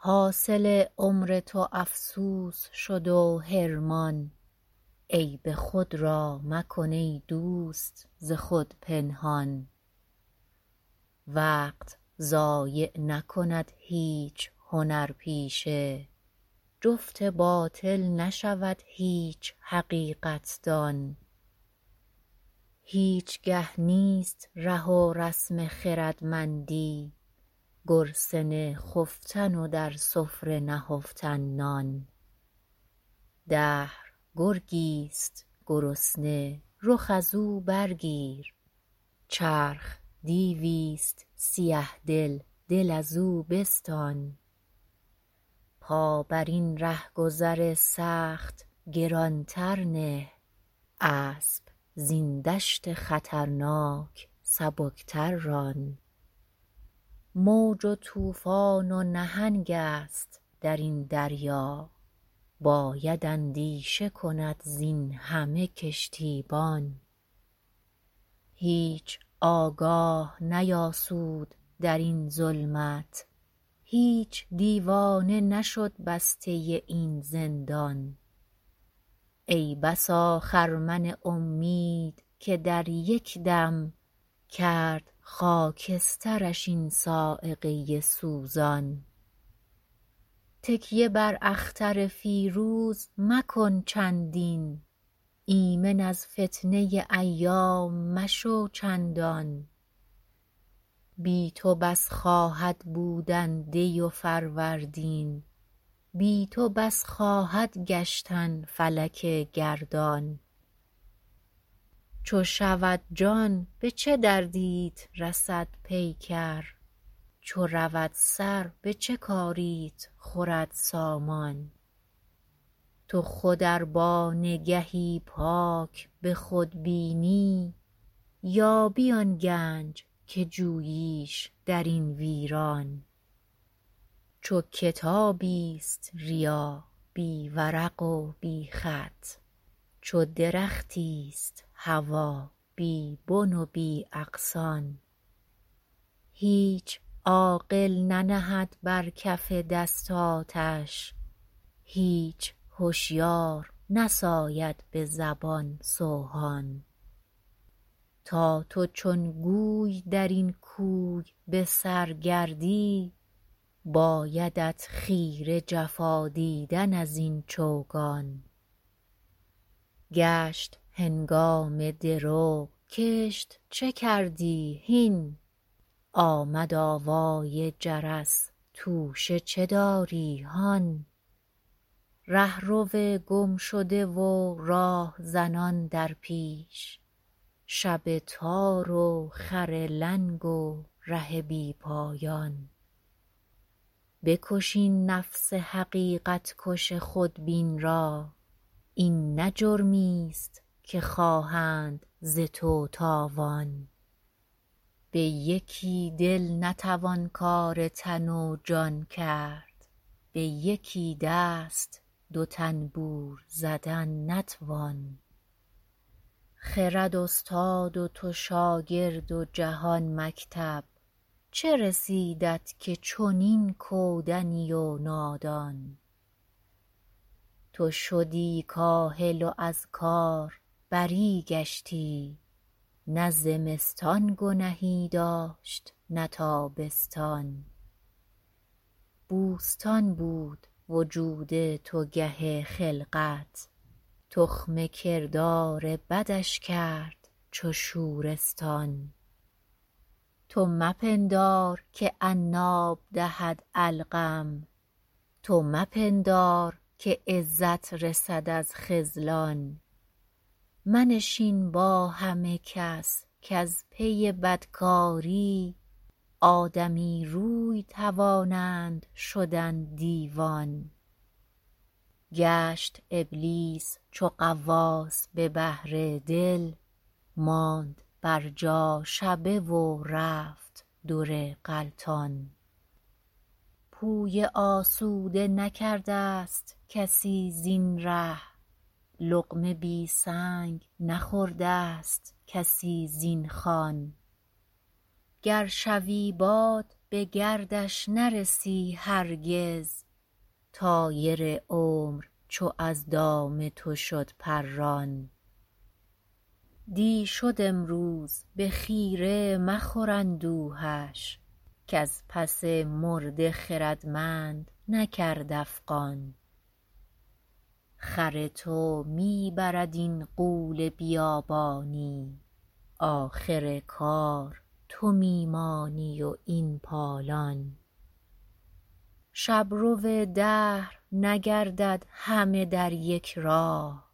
حاصل عمر تو افسوس شد و حرمان عیب خود را مکن ایدوست ز خود پنهان وقت ضایع نکند هیچ هنرپیشه جفت باطل نشود هیچ حقیقت دان هیچگه نیست ره و رسم خردمندی گرسنه خفتن و در سفره نهفتن نان دهر گرگیست گرسنه رخ از او برگیر چرخ دیویست سیه دل دل ازو بستان پا بر این رهگذر سخت گرانتر نه اسب زین دشت خطرناک سبکتر ران موج و طوفان و نهنگست درین دریا باید اندیشه کند زین همه کشتیبان هیچ آگاه نیاسود درین ظلمت هیچ دیوانه نشد بسته این زندان ای بسا خرمن امید که در یکدم کرد خاکسترش این صاعقه سوزان تکیه بر اختر فیروز مکن چندین ایمن از فتنه ایام مشو چندان بی تو بس خواهد بودن دی و فروردین بی تو بس خواهد گشتن فلک گردان چو شود جان به چه دردیت رسد پیکر چو رود سر به چه کاریت خورد سامان تو خود ار با نگهی پاک بخود بینی یابی آن گنج که جوییش درین ویران چو کتابیست ریا بی ورق و بی خط چو درختیست هوی بی بن و بی اغصان هیچ عاقل ننهد بر کف دست آتش هیچ هشیار نساید بزبان سوهان تا تو چون گوی درین کوی بسر گردی بایدت خیره جفا دیدن از این چوگان گشت هنگام درو کشت چه کردی هین آمد آوای جرس توشه چه داری هان رهرو گمشده و راهزنان در پیش شب تار و خر لنگ و ره بی پایان بکش این نفس حقیقت کش خود بین را این نه جرمی است که خواهند ز تو تاوان به یکی دل نتوان کار تن و جان کرد به یکی دست دو طنبور زدن نتوان خرد استاد و تو شاگرد و جهان مکتب چه رسیدت که چنین کودنی و نادان تو شدی کاهل و از کاربری گشتی نه زمستان گنهی داشت نه تابستان بوستان بود وجود تو گه خلقت تخم کردار بدش کرد چو شورستان تو مپندار که عناب دهد علقم تو مپندار که عزت رسد از خذلان منشین با همه کس کاز پی بد کاری آدمی روی توانند شدن دیوان گشت ابلیس چو غواص به بحر دل ماند بر جا شبه و رفت در غلطان پویه آسوده نکردست کسی زین ره لقمه بی سنگ نخوردست کسی زین خوان گر شوی باد بگردش نرسی هرگز طایر عمر چو از دام تو شد پران دی شد امروز بخیره مخور اندوهش کز پس مرده خردمند نکرد افغان خر تو میبرد این غول بیابانی آخر کار تو میمانی و این پالان شبرو دهر نگردد همه در یک راه